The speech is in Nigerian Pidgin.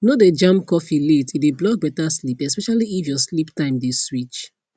no dey jam coffee late e dey block better sleep especially if your sleep time dey switch